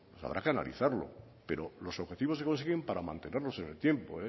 habrá que analizarlo pero los objetivos se consiguen para mantenerlos en el tiempo